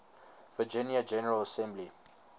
virginia general assembly